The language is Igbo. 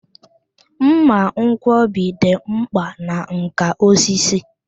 Mma nkwọbi dị mkpa na nkà osisi.